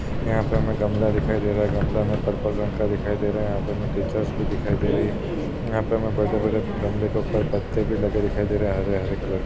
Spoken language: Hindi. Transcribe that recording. यहां पर हमें गमला दिखाई दे रहा है गमला हमें पर्पल रंग का दिखाई दे रहा है यंहा पे हमें टीचर्स भी दिखाई दे रही है। यहां पे हमें बड़े-बड़े गमले के ऊपर पत्ते भी लगे दिखाई दे रहे हैं हरे-हरे कलर के।